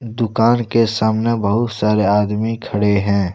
दुकान के सामने बहुत सारे आदमी खड़े हैं।